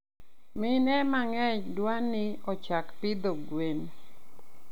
Mine mangeny dwani ochak pidho gwen